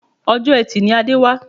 Ọjọ́ etì ni Adé wá